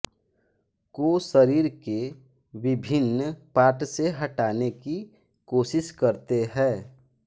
को सरीर के बिभिन्न पार्ट से हटाने की कोसिस करते है